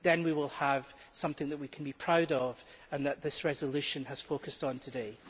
Then we will have something that we can be proud of and that this resolution has focused on today.